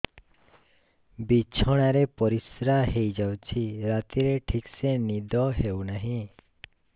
ବିଛଣା ରେ ପରିଶ୍ରା ହେଇ ଯାଉଛି ରାତିରେ ଠିକ ସେ ନିଦ ହେଉନାହିଁ